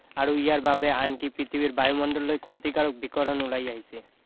আৰু ইয়াৰ বাবে আনকি পৃথিৱীৰ বায়ুমণ্ডললৈ ক্ষতিকাৰক বিকিৰণ ওলাই আহিছে